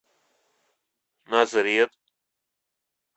назрет